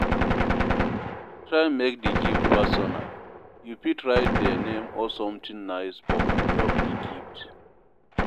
Try make di gift personal, you fit write their name or something nice for on top di gift